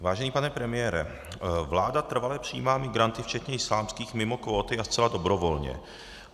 Vážený pane premiére, vláda trvale přijímá migranty včetně islámských mimo kvóty a zcela dobrovolně.